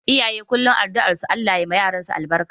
Iyaye kullum addu'ar su Allah ya ma yaransu albarka